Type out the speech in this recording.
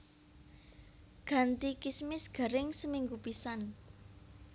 Ganti kismis garing seminggu pisan